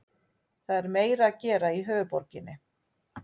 Það er meira að gera í höfuðborginni.